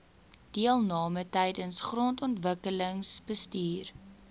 deelname tydens grondontwikkelingsbestuur